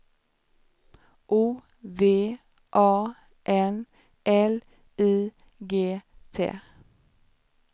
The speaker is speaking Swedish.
O V A N L I G T